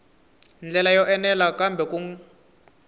ndlela yo enela kambe ku